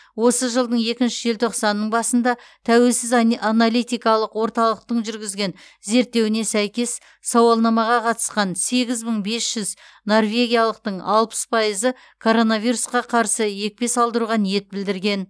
осы жылдың екінші желтоқсанының басында тәуелсіз аналитикалық орталықтың жүргізген зерттеуіне сәйкес сауалнамаға қатысқан сегіз мың бес жүз норвегиялықтың алпыс пайызы коронавирусқа қарсы екпе салдыруға ниет білдірген